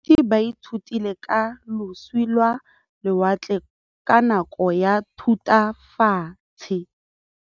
Baithuti ba ithutile ka losi lwa lewatle ka nako ya Thutafatshe.